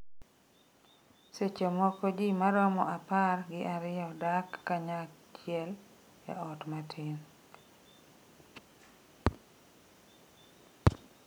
Seche moko ji maromo apar gi ariyo dak kanyachiel e ot matin.